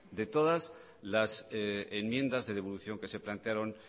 de todas las enmiendas de devolución que se plantearon